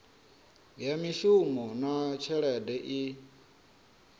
ya mishumo na tshelede i